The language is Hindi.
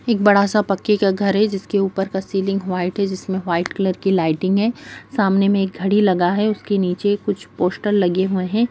एक बड़ा-सा पक्के का घर है जिसके ऊपर का सीलिंग व्हाइट है जिसमे व्हाइट कलर की लाइटिंग है सामने मे एक घड़ी लगा है उसके नीचे कुछ पोस्टर लगे हुए है।